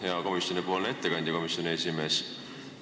Hea komisjoni ettekandja, komisjoni esimees!